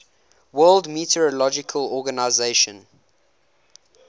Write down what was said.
world meteorological organization